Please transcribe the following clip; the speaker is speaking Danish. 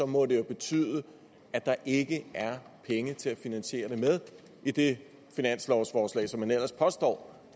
må det jo betyde at der ikke er penge til at finansiere det med i det finanslovsforslag som man ellers påstår